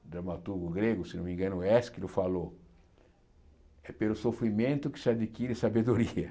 um dramaturgo grego, se não me engano, Ésquilo, falou é pelo sofrimento que se adquire sabedoria.